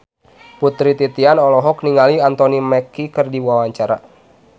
Putri Titian olohok ningali Anthony Mackie keur diwawancara